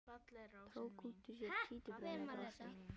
Tók út úr sér títuprjón og brosti.